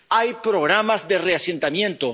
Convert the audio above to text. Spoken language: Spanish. Hay programas de reasentamiento.